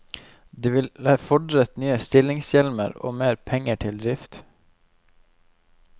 Det ville fordret nye stillingshjemler og mer penger til drift.